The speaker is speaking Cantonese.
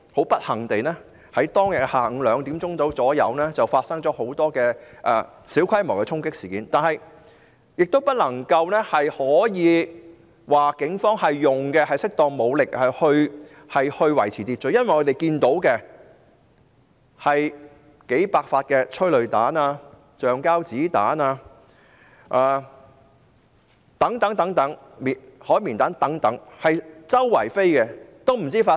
不幸地，下午2時左右發生了很多小規模的衝擊事件，警方並沒有使用適當的武力以維持秩序，原因是警方發射了數百發催淚彈、橡膠子彈及海綿彈等。